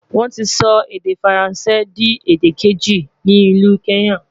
wón tí sọ èdè faransé di èdè keji ní ìlu kenya